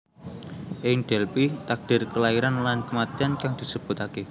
Ing Delphi takdir Kelairan lan Kematian kang disebutake